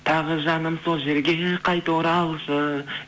тағы жаным сол жерге қайта оралшы